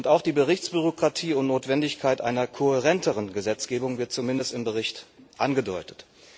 Auch die Berichtsbürokratie und Notwendigkeit einer kohärenteren Gesetzgebung wird zumindest im Bericht angedeutet.